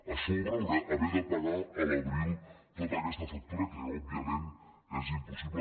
a sobre haver de pagar a l’abril tota aquesta factura que òbviament és impossible